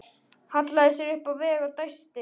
Hallaði sér upp að vegg og dæsti.